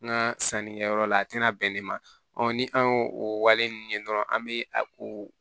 N ka sannikɛyɔrɔ la a tɛna bɛn ne ma ni an y'o o wale ninnu ye dɔrɔn an bɛ a ko